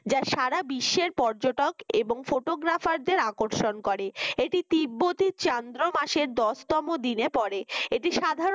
যা সারা বিশ্বের পর্যটক এবং photographer দের আকর্ষণ করে এটি তিব্বতি চন্দ্র মাসের দশ তম দিনে পরে। এটি সাধারণ